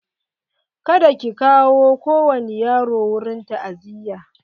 Kada ki kawo kowani yaro wurin ta'aziya!